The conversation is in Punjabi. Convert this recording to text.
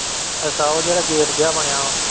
ਅੱਛਾ ਉਹ ਜਿਹੜਾ gate ਜਿਹਾ ਬਣਿਆ ਵਾ।